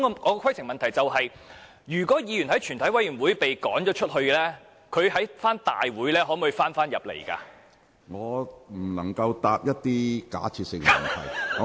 我的規程問題是，如果議員在全體委員會被逐出會議廳，他能否在大會返回會議廳？